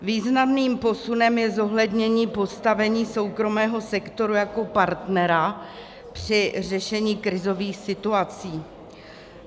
Významným posunem je zohlednění postavení soukromého sektoru jako partnera při řešení krizových situací.